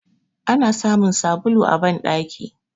Ana samun sabulu a bandaki